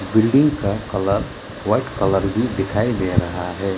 Building का colour white colour भी दिखाई दे रहा है।